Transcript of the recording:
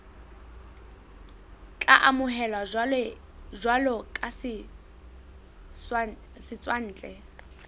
tla amohelwa jwalo ka setswantle